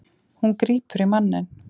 Hún grípur í manninn.